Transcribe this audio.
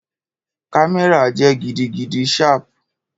Kamẹra jẹ gidigidi sharp